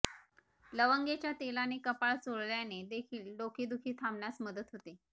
लवंगेच्या तेलाने कपाळ चोळल्याने देखील डोके दुखी थांबण्यास मदत होते